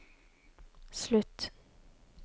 slutt